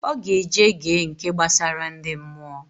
Oga eje ge nke gbasara ndi mmụọ